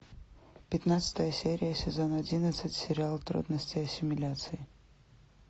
пятнадцатая серия сезон одиннадцать сериал трудности ассимиляции